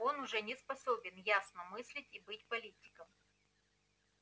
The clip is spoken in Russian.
он уже не способен ясно мыслить и быть политиком